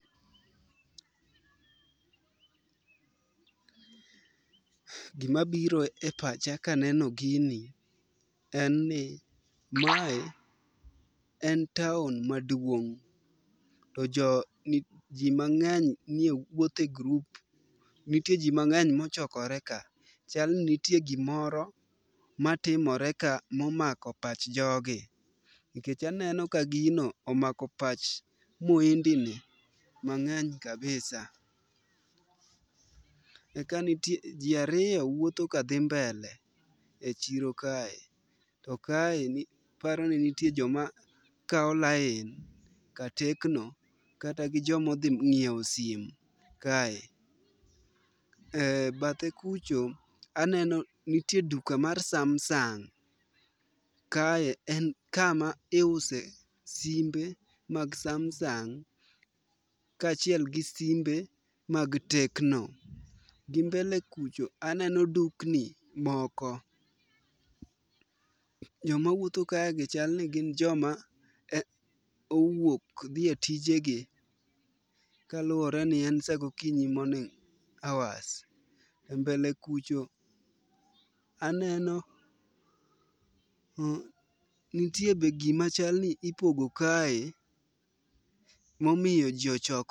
Gima biro e pacha kaneno gini en ni mae en taon maduong' . To jo ni jii mang'eny ni wuoth e grup nitie jii mang'eny mochokore ka. Chal ni ntie gimor matimore ka momako pach jogi nikech aneno ka gino omako pach muhindi ni mang'eny kabisa. Ka nitie jii ariyo wuotho kadhi mbele e chiro kae to kae ni paro ni nitie joma kawo lain ka tekno kata gi jomodhi nyiewo simu kae . E bathe kucho aneno nitie duka mar samsung kae en kama iuse simbe mag samsung kachiel kod simbe mag tekno. Gi mbele kucho aneno dukni moko joma wuotho ka gi chal ni gin joma owuok dhi e tije gi kaluwore ni en saa gokinyi morning hours .E mbele kucho aneno nitie be gima chal ni ipogo kae momiyo jii ochokore.